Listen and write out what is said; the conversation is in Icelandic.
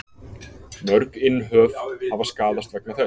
Mörg innhöf hafa skaðast vegna þess.